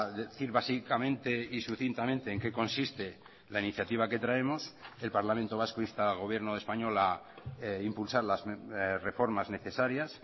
decir básicamente y sucintamente en qué consiste la iniciativa que traemos el parlamento vasco insta al gobierno español a impulsar las reformas necesarias